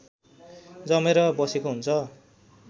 जमेर बसेको हुन्छ